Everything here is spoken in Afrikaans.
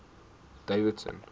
davidson